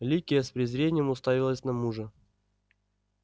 ликия с презрением уставилась на мужа